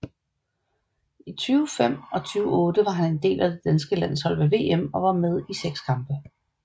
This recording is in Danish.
I 2005 og 2008 var han en del af det danske landshold ved VM og var med i 6 kampe